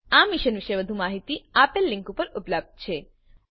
આ મિશન પર વધુ માહીતી નીચે આપેલ લીંક પર ઉપલબ્ધ છે httpspoken tutorialorgNMEICT Intro